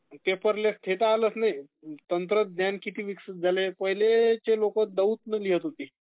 paperless हे तर झालचं आहे...तंत्रज्ञान किती विकसित झालयं...पहिले जा लोकं दौत ने लिहीत होती...